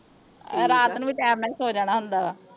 ਰਾਤ ਨੂੰ ਵੀ ਟਾਈਮ ਨਾਲ ਹੀ ਸੌਂ ਜਾਣਾ ਹੁੰਦਾ ਵਾ